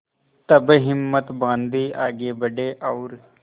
तब हिम्मत बॉँधी आगे बड़े और